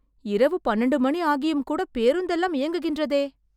இரவு பன்னண்டு மணி ஆகியும் கூட பேருந்துலாம் இயங்குகின்றதே